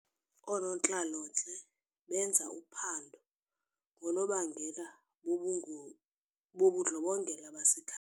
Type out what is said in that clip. Oonontlalontle benza uphando ngoonobangela bobu bobundlobongela basekha.